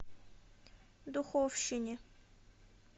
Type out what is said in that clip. духовщине